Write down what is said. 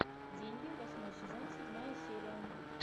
деньги восьмой сезон седьмая серия